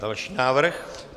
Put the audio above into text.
Další návrh?